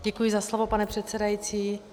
Děkuji za slovo, pane předsedající.